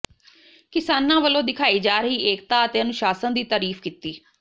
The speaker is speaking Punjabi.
ਕਿਸਾਨਾਂ ਵੱਲੋਂ ਦਿਖਾਈ ਜਾ ਰਹੀ ਏਕਤਾ ਅਤੇ ਅਨੁਸ਼ਾਸਨ ਦੀ ਤਾਰੀਫ਼ ਕੀਤੀ